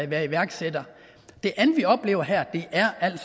være iværksætter det andet vi oplever her